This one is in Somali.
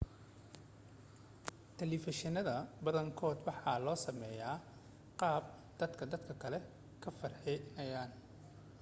telefishannada badankood waxaa loo sameeyaa qaab dad dadka ka farxinaya